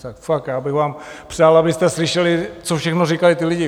Fakt, já bych vám přál, abyste slyšeli, co všechno říkají ti lidi.